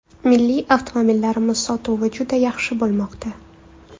Milliy avtomobillarimiz sotuvi juda yaxshi bo‘lmoqda.